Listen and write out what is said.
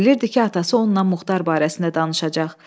Bilirdi ki, atası ondan Muxtar barəsində danışacaq.